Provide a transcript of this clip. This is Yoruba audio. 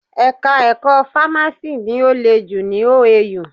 Ẹ̀ka ẹ̀kọ́ fámásì ni ó le jù ní OAU.